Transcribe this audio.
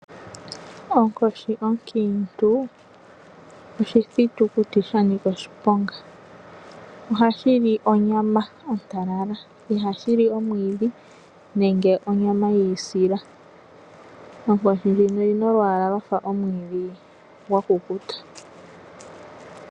Onkoshi onkiitu oshititukuti sha nika oshiponga. Ohashi li onyama ontalala, ihashi li omwiidhi nenge onyama yi ilisila. Onkoshi ndjika oyi na olwaala lwa fa omwiidhi gwa kukuta.